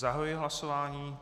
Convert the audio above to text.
Zahajuji hlasování.